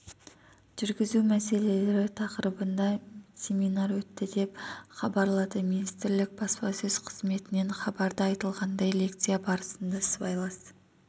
жүргізу мәселелері тақырыбында семинар өтті деп хабарлады министрлік баспасөз қызметінен хабарда айтылғандай лекция барысында сыбайлас